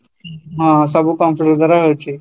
ହଁ, ସବୁ computer ଦ୍ଵାରା ହଉଚି